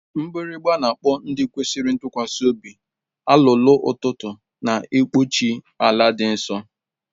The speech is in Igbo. Mgbịrịgba, na-akpọ ndị kwesịrị ntụkwasị obi, alụlụụ ụtụtụ na-ekpuchi ala dị nsọ.